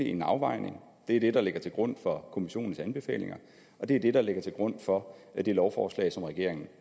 en afvejning og det er det der ligger til grund for kommissionens anbefalinger og det er det der ligger til grund for det lovforslag som regeringen